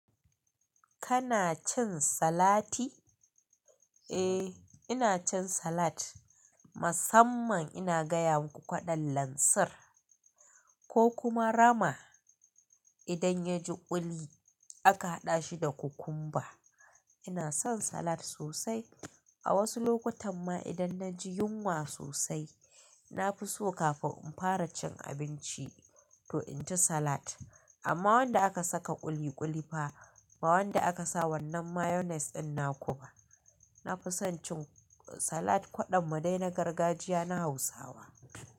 Kana cin salati? Eh, ina cin salat. Musamman ina gaya muku kwaɗon lansir, ko kuma rama. Idan yaji ƙuli, aka haɗa shi da kukumba. Ina son salat sosai. A wasu lokutan ma idan na ji yunwa sosai, na fi so kafin in fara cin abinci to in ci salat. Amma wanda aka saka ƙuli ƙuli fa ba wanda aka sa wannan Mayonnaise ɗin na kuba. Na fi son cin salat kwaɗon mu dai na gargajiya na Hausawa.